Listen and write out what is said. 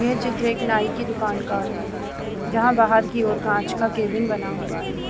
यह चित्र एक नाई की दुकान का है जहाँ बाहर की और एक कांच का केबिन बना हुआ है।